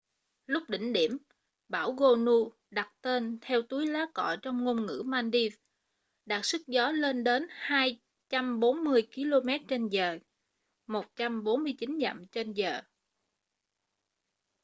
lúc đỉnh điểm bão gonu đặt tên theo túi lá cọ trong ngôn ngữ maldives đạt sức gió lên tới 240 kilomet trên giờ 149 dặm trên giờ